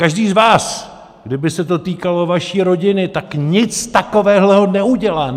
Každý z vás, kdyby se to týkalo vaší rodiny, tak nic takového neudělá!